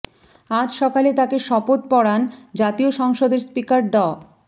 আজ সকালে তাঁকে শপথ পড়ান জাতীয় সংসদের স্পিকার ড